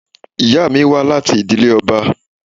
Ìyá mi wá láti ìdílé ọba.